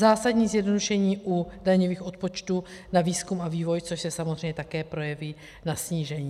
Zásadní zjednodušení u daňových odpočtů na výzkum a vývoj, což se samozřejmě také projeví na snížení.